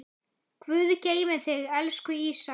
Guð geymi þig, elsku Ísak.